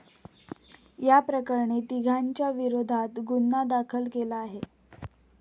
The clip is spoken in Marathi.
याप्रकरणी तिघांच्या विरोधात गुन्हा दाखल केला आहे.